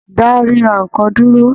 Dá rírà nnkan dúró!